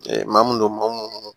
maa mun do maa minnu